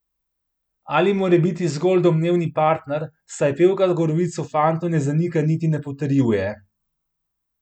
Ali morebiti zgolj domnevni partner, saj pevka govoric o fantu ne zanika niti ne potrjuje.